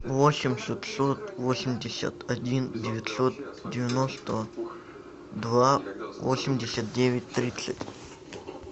восемь шестьсот восемьдесят один девятьсот девяносто два восемьдесят девять тридцать